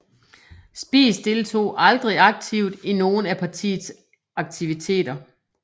Spies deltog aldrig aktivt i nogle af partiets aktiviteter